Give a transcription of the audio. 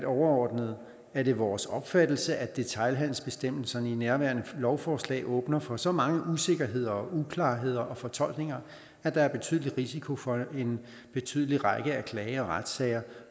overordnet er det vores opfattelse at detailhandelsbestemmelserne i nærværende lovforslag åbner for så mange usikkerheder uklarheder og fortolkninger at der er betydelig risiko for en betydelig række af klage og retssager